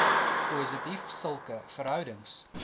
positief sulke verhoudings